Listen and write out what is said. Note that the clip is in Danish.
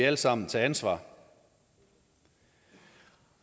alle sammen tage ansvar jeg